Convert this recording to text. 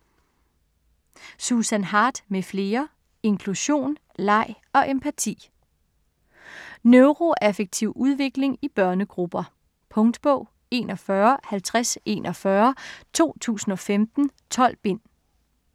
Susan Hart m.fl.: Inklusion, leg og empati Neuroaffektiv udvikling i børnegrupper. Punktbog 415041 2015. 12 bind.